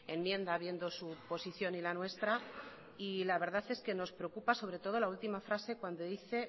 enmienda viendo su posición y la nuestra la verdad es que nos preocupa sobre todo la última frase cuando dice